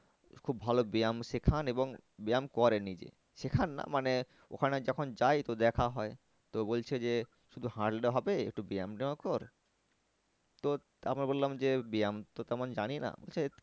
খুব ভালো ব্যায়াম সেখান এবং ব্যায়াম করেন নিজে সেখান না মানে ওখানে যখন যাই তো দেখা হয়। তো বলছে যে শুধু হাঁটলে হবে একটু ব্যায়ামতাও কর তো তারপর বললাম যে ব্যায়াম তো তেমন জানি না বলছে